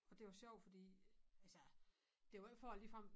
Og det var sjovt fordi altså det var ikke for jeg ligefrem